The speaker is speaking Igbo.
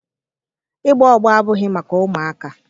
Ịgba ọgbọ abụghị maka ụmụaka